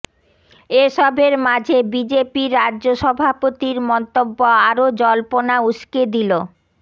এসবের মাঝে বিজেপির রাজ্য সভাপতির মন্তব্য আরও জল্পনা উসকে দিল